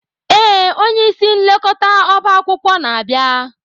Ee, onye isi nlekọta ọba akwụkwọ na-abịa.